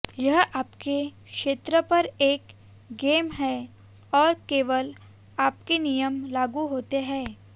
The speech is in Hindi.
यह आपके क्षेत्र पर एक गेम है और केवल आपके नियम लागू होते हैं